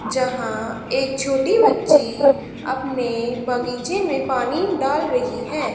जहां एक छोटी बच्ची अपने बगीचे में पानी डाल रही है।